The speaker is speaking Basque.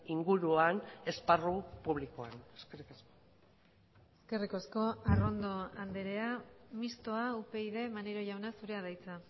inguruan esparru publikoan eskerrik asko eskerrik asko arrondo andrea mistoa upyd maneiro jauna zurea da hitza